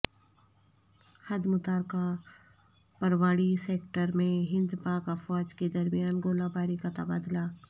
حد متارکہ پراوڑی سیکٹر میں ہند پاک افواج کے درمیان گولہ باری کا تبادلہ